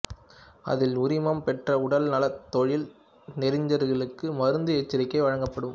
அதில் உரிமம் பெற்ற உடல் நலத் தொழில் நெறிஞர்களுக்கு மருந்து எச்சரிக்கைகள் வழங்கப்படும்